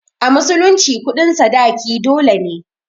A musulunci kuɗin sadaki dole ne.